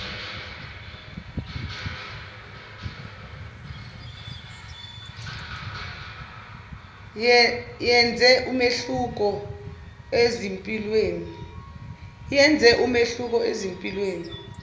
yenze umehluko ezimpilweni